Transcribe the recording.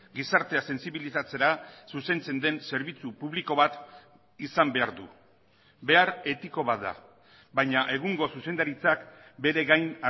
gizartea sentsibilizatzera zuzentzen den zerbitzu publiko bat izan behar du behar etiko bat da baina egungo zuzendaritzak bere gain